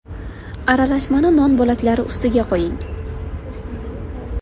Aralashmani non bo‘laklari ustidan quying.